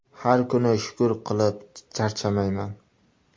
Har kuni shukur qilib charchamayman.